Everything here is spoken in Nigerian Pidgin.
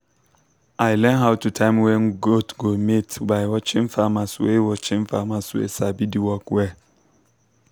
i learn how to time when goat go mate by watching farmers wey watching farmers wey sabi the work well.